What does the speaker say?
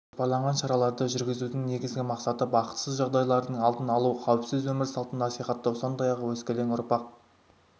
жоспарланған шараларды жүргізудің негізгі мақсаты бақытсыз жағдайлардың алдын алу қауіпсіз өмір салтын насихаттау сондай-ақ өскелең ұрпақ